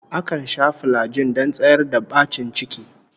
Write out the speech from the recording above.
Akan sha filajin don tsayar da bacin ciki